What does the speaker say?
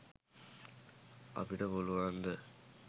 අපිට පුලුවන්ද?